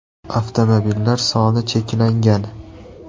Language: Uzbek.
Avtomobillar soni cheklangan!